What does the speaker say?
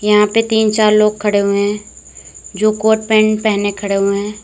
यहां पे तीन चार लोग खड़े हुए हैं जो कोट पैंट पहने खड़े हुए हैं।